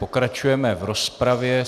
Pokračujeme v rozpravě.